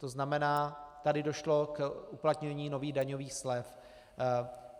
To znamená, tady došlo k uplatnění nových daňových slev.